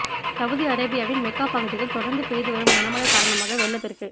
Saudi அரேபியாவின் Mecca பகுதியில் தொடர்ந்து பெய்து வரும் கனமழை காரணமாக வெள்ளப்பெருக்கு